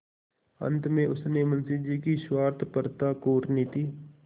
अंत में उसने मुंशी जी की स्वार्थपरता कूटनीति